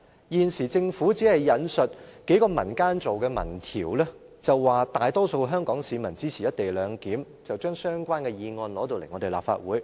現時政府只是引述數個民間組織做的民調，表示大多數香港市民支持"一地兩檢"，便將相關議案提交立法會。